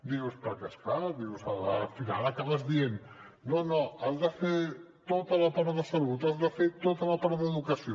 dius perquè és clar al final acabes dient no no has de fer tota la part de salut has de fer tota la part d’educació